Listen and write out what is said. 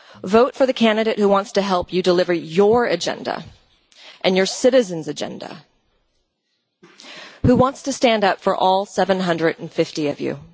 Vote for the candidate who wants to help you deliver your agenda and your citizens' agenda and who wants to stand up for all 750 of you.